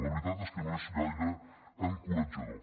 la veritat és que no és gaire encoratjador